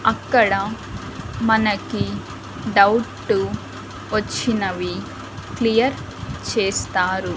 అక్కడ మనకి డౌట్టు వచ్చినవి క్లియర్ చేస్తారు.